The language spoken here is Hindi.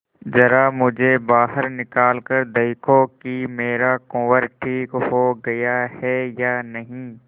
जरा मुझे बाहर निकाल कर देखो कि मेरा कुंवर ठीक हो गया है या नहीं